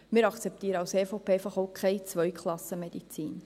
Wir akzeptieren als EVP auch einfach keine Zweiklassenmedizin.